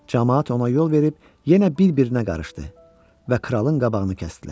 Camaat ona yol verib yenə bir-birinə qarışdı və kralın qabağını kəsdilər.